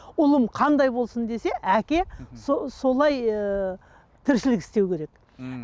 ұлын қандай болсын десе әке солай ыыы тіршілік істеу керек ммм